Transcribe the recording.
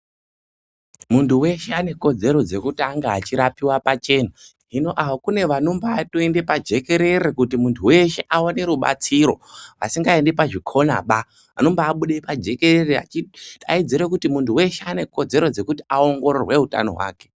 Muntu weshe ane kodzero dzekuti ange achirapiwa pachena. Hino kune vanotombatoende pajekerere kuti muntu weshe aone rubatsiro, vasingaendi pazvikonaba. Anombabude pajekerere achidaidzira kuti muntu weshe ane kodzero dzekuti aongorore utano hwake.